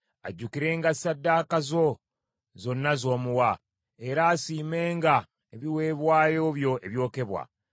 Ajjukirenga ssaddaaka zo zonna z’omuwa, era asiimenga ebiweebwayo byo ebyokebwa.